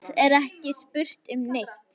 Það er ekki spurt um neitt.